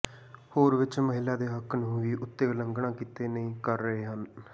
ਹੋਰ ਵਿਚ ਮਹਿਲਾ ਦੇ ਹੱਕ ਨੂੰ ਵੀ ਉੱਤੇ ਉਲੰਘਣਾ ਕੀਤੇ ਨਹੀ ਕਰ ਰਹੇ ਹਨ